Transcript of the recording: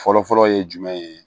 Fɔlɔfɔlɔ ye jumɛn ye